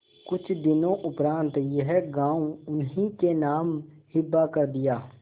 कुछ दिनों उपरांत यह गॉँव उन्हीं के नाम हिब्बा कर दिया